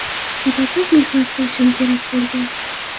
Juda ko‘p mehnat qilishim kerak bo‘lgan.